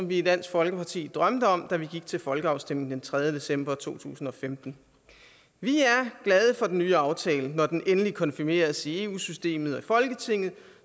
vi i dansk folkeparti drømte om da vi gik til folkeafstemning den tredje december to tusind og femten vi er glade for den nye aftale når den endelig konfirmeres i eu systemet og i folketinget